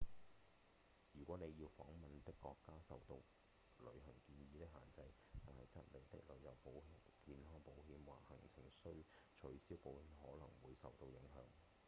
如果您要訪問的國家受到旅行建議的限制則您的旅遊健康保險或行程取消保險可能會受到影響